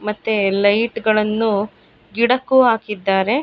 ಮತ್ತೆ ಲೈಟ್ ಗಳನ್ನು ಗಿಡಕ್ಕೂ ಹಾಕಿದ್ದಾರೆ.